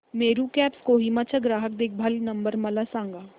Meru cabs Kohima चा ग्राहक देखभाल नंबर मला सांगा